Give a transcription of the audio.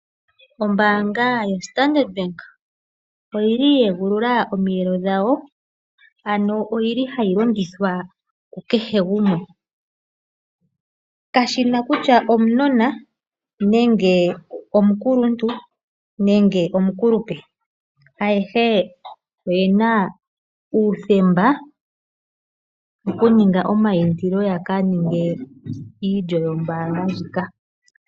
Ombaanga yaStandard Bank oya egulula omiyelo dhawo, ano ohayi longithwa kukehe gumwe. Kayi na kutya okanona, omukuluntu nenge omukulupe. Ayehe oye na uuthemba wokuninga omaindilo ya ka ninge iilyo yombaanga ndjika.